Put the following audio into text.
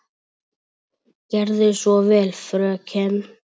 Gerðu svo vel, fröken!